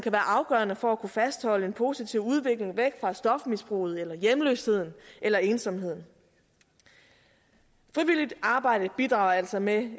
afgørende for at kunne fastholde en positiv udvikling væk fra stofmisbruget eller hjemløsheden eller ensomheden frivilligt arbejde bidrager altså med